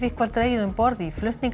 var dregið um borð í